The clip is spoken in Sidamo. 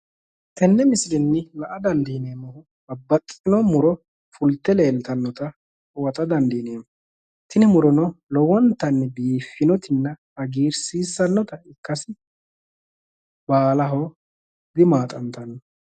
Yenne misilenni la'a dandiineemmihu babbaxxitino muro fulte leeltannota huwata dandiineemmo. Tini murino lowinta biiffinoti hagiirsinota ikkase baalaho dimaaxantanno.